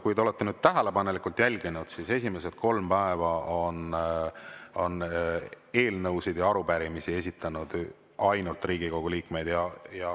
Kui te olete tähelepanelikult jälginud, siis esimesed kolm päeva on eelnõusid ja arupärimisi esitanud ainult Riigikogu liikmed.